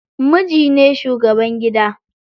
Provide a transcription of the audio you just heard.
Miji ne shugaban gida.